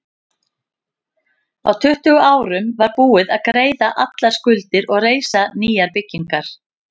Á tuttugu árum var búið að greiða allar skuldir og reisa nýjar byggingar.